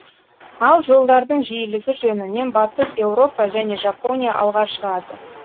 ал жолдардың жиілігі жөнінен батыс еуропа және жапония алға шығады